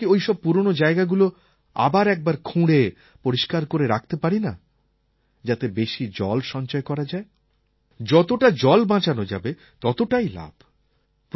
আমরা কি ওইসব পুরনো জায়গাগুলো আবার একবার খুঁড়ে পরিষ্কার করে রাখতে পারিনা যাতে বেশি জল সঞ্চয় করা যায় যতটা জল বাঁচানো যাবে ততটাই লাভ